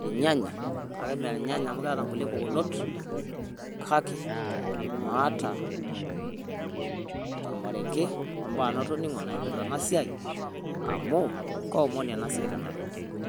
irnyanya, kake mee irnyanya amu keeta kulie pukunot kake maata ormarenge ombaa natoning'o naipirta ena siai amu ka omoni ena siaai tenanu.